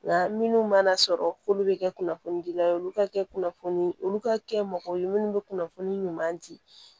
Nka minnu mana sɔrɔ k'olu bɛ kɛ kunnafoni dila olu ka kɛ kunnafoni olu ka kɛ mɔgɔ ye minnu bɛ kunnafoni ɲuman di